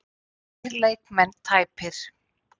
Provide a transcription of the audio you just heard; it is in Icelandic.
Tveir leikmenn tæpir